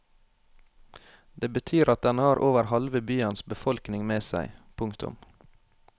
Det betyr at den har over halve byens befolkning med seg. punktum